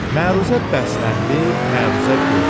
Məruzə bəsləndi, məruzə böyüdü.